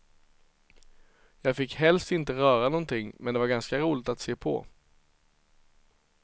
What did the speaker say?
Jag fick helst inte röra någonting, men det var ganska roligt att se på.